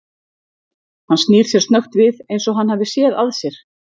Hann snýr sér snöggt við eins og hann hafi séð að sér.